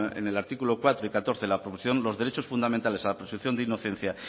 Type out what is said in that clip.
en el artículo cuatro y catorce de la proposición los derechos fundamentales a la presunción de inocencia